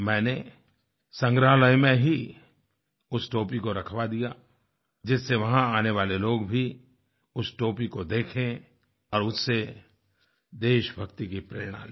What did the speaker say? मैंने संग्रहालय में ही उस टोपी को रखवा दिया जिससे वहाँ आने वाले लोग भी उस टोपी को देखें और उससे देशभक्ति की प्रेरणा लें